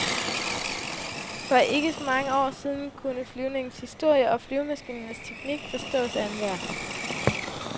For ikke så mange år siden kunne flyvningens historie og flyvemaskinens teknik forstås af enhver.